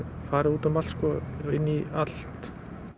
farið út um allt og inn í allt